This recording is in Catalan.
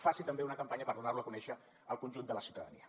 faci també una campanya per donar lo a conèixer al conjunt de la ciutadania